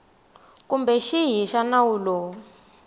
kumbe xihi xa nawu lowu